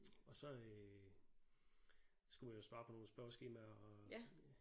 Og så øh skulle jeg svare på nogle spørgeskemaer og